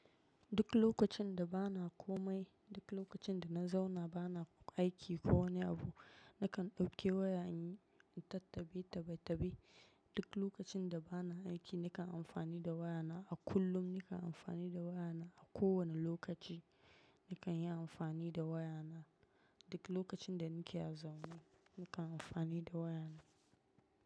Duk lokacin da ba na komai, duk lokacin da na zauna ba na aiki ko wani abu, nakan dauki waya in tattabi tabitabi. Duk lokacin da ba na aiki nakan amfani da wayana. A kullum nakan amfani da wayana. A kowane lokaci nakan yi amfani da wayana. Duk lokacin da nake a zaune nakan amfani da wayana.